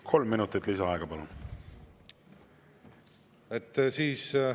Kolm minutit lisaaega, palun!